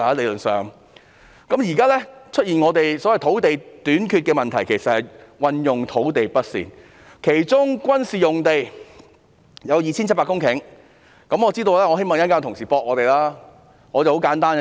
目前出現所謂的土地短缺問題，其實源於土地運用不善，其中軍事用地有 2,700 公頃，我希望稍後有同事會反駁我們。